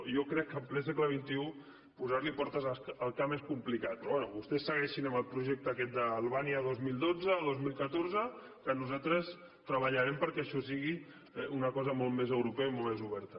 jo crec que en ple segle vostès segueixin amb el projecte aquest d’albània dos mil dotze o dos mil catorze que nosaltres treballarem perquè això sigui una cosa molt més europea i molt més oberta